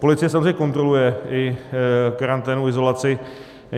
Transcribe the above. Policie samozřejmě kontroluje i karanténu, izolaci.